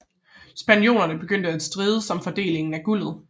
Spaniolerne begyndte at strides om fordelingen af guldet